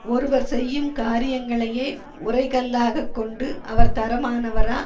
ஒருவர் செய்யும் காரியங்களையே உரைகல்லாகக் கொண்டு அவர் தரமானவரா